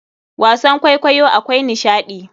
Wasan kwaikwayo akwai nishaɗi.